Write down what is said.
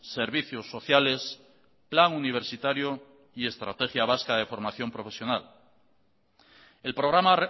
servicios sociales plan universitario y estrategia vasca de formación profesional el programa